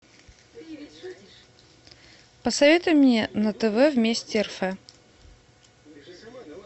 посоветуй мне на тв вместе рф